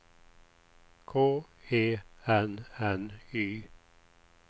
K E N N Y